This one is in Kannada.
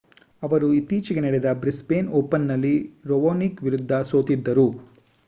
ಅವರು ಇತ್ತೀಚೆಗೆ ನಡೆದ ಬ್ರಿಸ್ಬೇನ್ ಓಪನ್‌ನಲ್ಲಿ ರಾವೊನಿಕ್ ವಿರುದ್ಧ ಸೋತಿದ್ದರು